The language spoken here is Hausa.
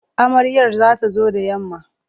Amaryar za ta zo da yamma.